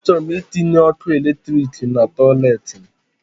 A chọrọ m itinye ọkụ eletriki na toilet m